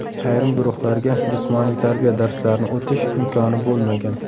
Ayrim guruhlarga jismoniy tarbiya darslarini o‘tish imkoni bo‘lmagan.